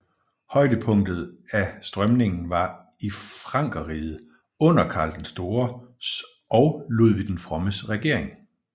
Højdepunktet af strømningen var i Frankerriget under Karl den Stores og Ludvig den Frommes regering